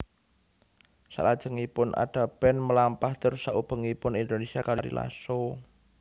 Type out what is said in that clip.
Salajengipun Ada Band melampah tur saubengipun Indonesia kaliyan Ari Lasso